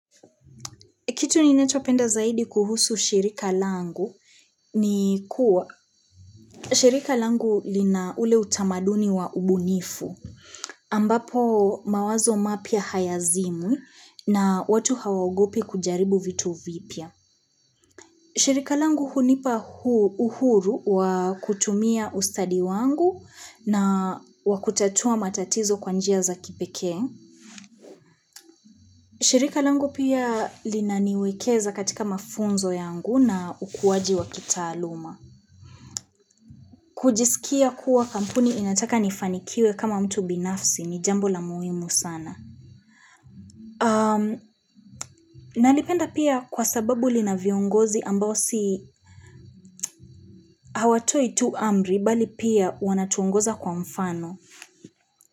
Kitu ninachopenda zaidi kuhusu shirika langu ni kuwa shirika langu lina ule utamaduni wa ubunifu ambapo mawazo mapya hayazimwi na watu hawaogopi kujaribu vitu vipya. Shirika langu hunipa uhuru wa kutumia ustadi wangu na wakutatua matatizo kwa njia za kipekee. Shirika langu pia linaniwekeza katika mafunzo yangu na ukuwaji wa kitaaluma. Kujisikia kuwa kampuni inataka nifanikiwe kama mtu binafsi ni jambo la muhimu sana. Nalipenda pia kwa sababu lina viongozi ambao si hawatoi tu amri bali pia wanatuongoza kwa mfano.